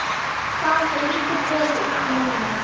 Það lítur vel út núna.